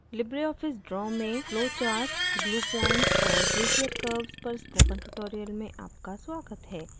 Libre office draw में flowcharts glue points और beizer curves पर spoken tutorial में आपका स्वागत है